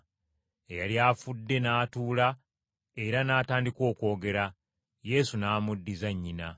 Eyali afudde n’atuula era n’atandika okwogera. Yesu n’amuddiza nnyina.